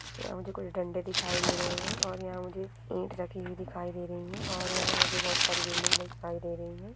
यह मुझे कोई डंडे दिखाई दे रहे हैं और यहाँ मुझे ईंट रखी हुई दिखाई दे रही है और यहाँ मुझे बहुत सारी बिल्डिंग दिखाई दे रही है।